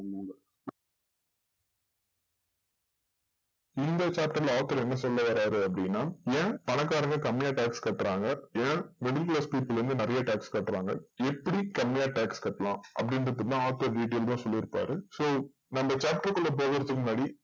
இந்த chapter ல author என்ன சொல்ல வராரு அப்டின்னா ஏன் பணக்காரங்க கம்மியா tax கட்றாங்க ஏன் middle class people வந்து நறையா tax கட்றாங்க எப்டி கம்மிய tax கட்டலாம் அப்டின்றதுதா author detailed ஆ சொல்லிருப்பாரு so நம்ம chapter குள்ள போறதுக்கு முன்னாடி